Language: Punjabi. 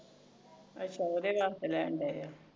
ਅਛਾ ਉਹਦੇ ਵਾਸਤੇ ਲੈਣਦੇ